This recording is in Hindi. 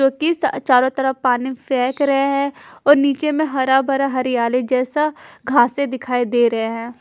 जो की स चारों तरफ पानी फेंक रहे हैं और नीचे में हरा भरा हरयाली जैसा घाँसे दिखाई दे रहे है।